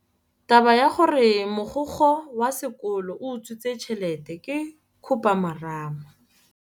Taba ya gore mogokgo wa sekolo o utswitse tšhelete ke khupamarama.